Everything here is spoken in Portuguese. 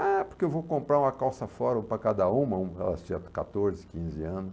Ah, porque eu vou comprar uma calça Fórum para cada uma, elas tinham quatorze, quinze anos.